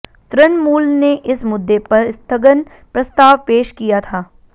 तृणमूल ने इस मुद्दे पर स्थगन प्रस्ताव पेश किया था